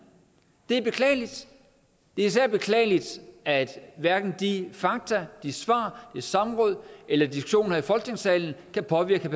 det er beklageligt det er især beklageligt at hverken de fakta de svar det samråd eller diskussionen her i folketingssalen kan påvirke